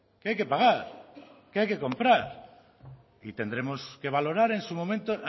que hay que pagar que hay que comprar y tendremos que valorar en su momento